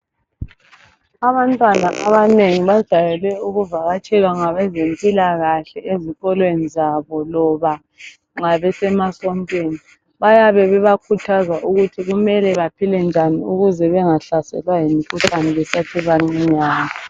Abantwana abanengi bajayele ukuvakatshelwa ngabezempilakahle ezikolweni zabo loba nxa besemasontweni. Bayabe bebakhuthaza ukuthi kumele baphile njani ukuze bengahlaselwa yimkhuhlane besasebancinyane.